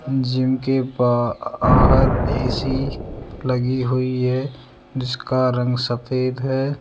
Gym के बाहर AC लगी हुई है जिसका रंग सफेद है।